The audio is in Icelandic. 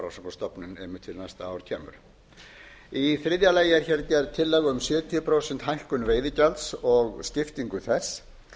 ár kemur í þriðja lagi er gerð tillaga um sjötíu prósent hækkun veiðigjalds og skiptingu þess